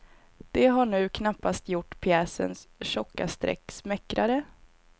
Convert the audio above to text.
Det har nu knappast gjort pjäsens tjocka streck smäckrare.